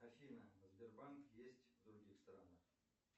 афина сбербанк есть в других странах